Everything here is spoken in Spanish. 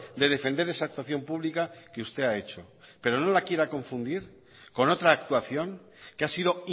de defender esa actuación pública que usted ha hecho pero no la quiera confundir con otra actuación que ha sido